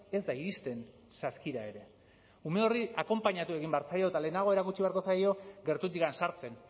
ez da iristen saskira ere ume horri akonpainatu egin behar zaio eta lehenago erakutsi beharko zaio gertutik sartzen